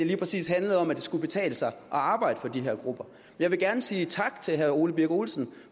lige præcis handlede om at det skulle kunne betale sig at arbejde for de her grupper jeg vil gerne sige tak til herre ole birk olesen